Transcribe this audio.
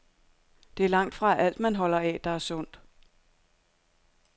Det er langtfra alt, man holder af, der er sundt.